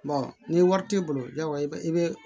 ni wari t'i bolo yaw i bɛ i bɛ